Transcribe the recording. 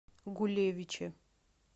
гулевиче